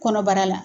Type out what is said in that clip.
Kɔnɔbara la